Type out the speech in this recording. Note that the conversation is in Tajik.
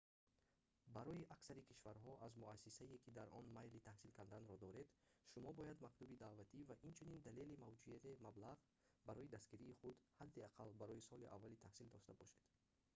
барои аксари кишварҳо аз муассисае ки дар он майли таҳсил карданро доред шумо бояд мактуби даъватӣ ва инчунин далели мавҷудияти маблағ барои дастгирии худ ҳадди аққал барои соли аввали таҳсил дошта бошед